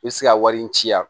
I bɛ se ka wari in ci yan